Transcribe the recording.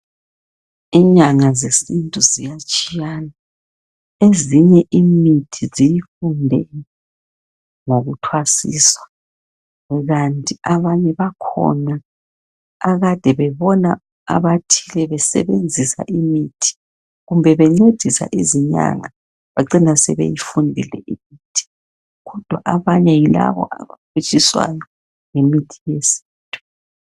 Inyanga zesintu ziyatshiyana, ezinye imithi ziyifunde ngokuthwasiswa kanti abanye bakhona akade bebona abathile besebenzisa imithi kumbe bencedisa izinyanga bacina sebeyifundile imithi. Kodwa abanye yilaba abaphutshiswayo ngemithi yesintu.